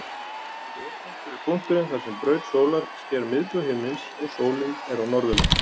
Vorpunktur er punkturinn þar sem braut sólar sker miðbaug himins og sólin er á norðurleið.